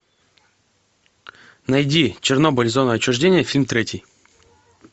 найди чернобыль зона отчуждения фильм третий